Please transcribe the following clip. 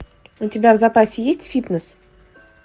у тебя в запасе есть фитнес